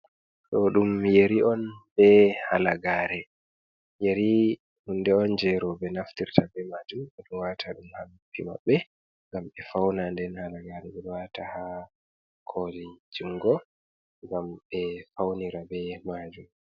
Do ɗum yeri on ɓe halagare, yeri hunde on jei rouɓe naftirta be maajum ɓe do waata ɗum ha noppi maɓɓe. ngam be faunira nden halagare ɓe do waata ha kooli jungo ngam be faunira be maajum.